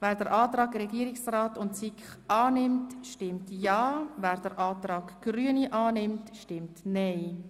Wer den Antrag SiK und Regierungsrat annimmt, stimmt ja, wer den Antrag Grüne annimmt, stimmt nein.